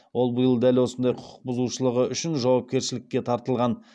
ол биыл дәл осындай құқық бұзушылығы үшін жауапкершілікке тартылған